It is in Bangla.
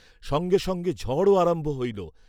সঙ্গে সঙ্গে ঝড়ও আরম্ভ হইল।